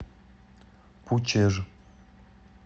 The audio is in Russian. пучеж